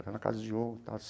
Era na casa de.